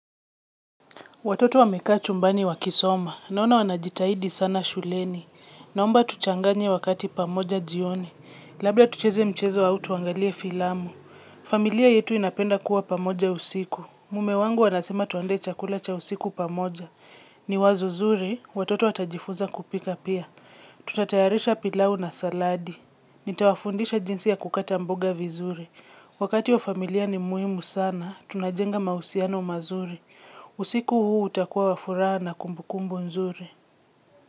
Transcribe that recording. Watoto wameka chumbani wakisoma, naona wanajitahidi sana shuleni, naomba tuchanganye wakati pamoja jioni, labda tucheze mchezo wa tuangalie filamu. Familia yetu inapenda kuwa pamoja usiku, mume wangu anasema tuandae chakula cha usiku pamoja, ni wazo zuri, watoto watajifunza kupika pia. Tutatayarisha pilau na saladi, nitawafundisha jinsi ya kukata mboga vizuri, wakati wa familia ni muhimu sana, tunajenga mausiano mazuri. Usiku huu utakuwa wafurana kumbukumbu nzuri.